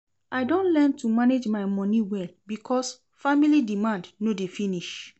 I don learn to manage my moni well because family demand no dey finish.